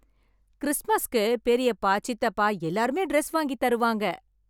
கிறிஸ்மஸ்க்கு பெரியப்பா, சித்தப்பா எல்லாருமே டிரஸ் வாங்கி தருவாங்க.